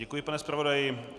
Děkuji, pane zpravodaji.